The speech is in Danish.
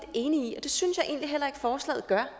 enig i og det synes jeg egentlig heller ikke forslaget gør